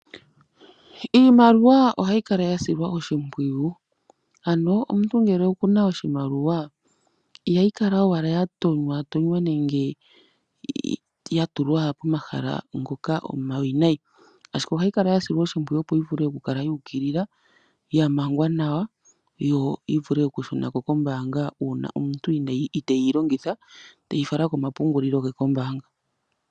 Iimaliwa ohayi kala ya silwa oshimpwiyu ano omuntu ngele oku na oshimaliwa ihayi kala owala ya tonywa tonywa nenge ya tulwa pomahala ngoka omawinayi ashike ohayi kala ya silwa oshimpwiyu opo yi vule okukala yu ukilila, ya mangwa nawa yo yi vule okushuna ko kombaanga uuna omuntu iteeyi longitha teyi fala komapungulilo ge kombaanga.